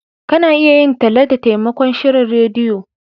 Ka na iya yin talla da taimakon shirin rediyo